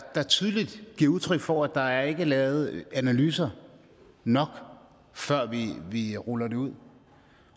der tydeligt giver udtryk for at der ikke er lavet analyser nok før vi ruller det ud